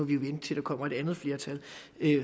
vi vente til der kommer et andet flertal